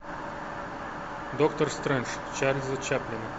доктор стрэндж чарльза чаплина